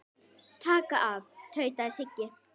Taka af. tautaði Siggi.